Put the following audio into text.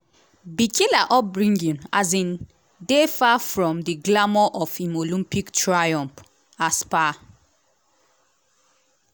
bikila upbringing um dey far from di glamour of im olympic triumph. um